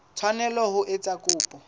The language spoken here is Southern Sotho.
tshwanela ho etsa kopo ya